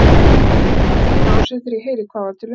Gat ekki varist brosi þegar ég heyrði hvað var til umræðu.